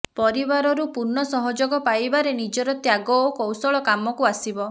ପରିବାରରୁ ପୂର୍ଣ୍ଣ ସହଯୋଗ ପାଇବାରେ ନିଜର ତ୍ୟାଗ ଓ କୈାଶଳ କାମକୁ ଆସିବ